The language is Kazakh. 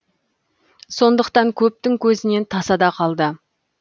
сондықтан көптің көзінен тасада қалды